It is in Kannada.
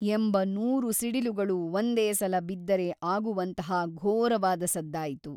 ಎಂಬ ನೂರು ಸಿಡಿಲುಗಳು ಒಂದೇ ಸಲ ಬಿದ್ದರೆ ಆಗುವಂತಹ ಘೋರವಾದ ಸದ್ದಾಯಿತು.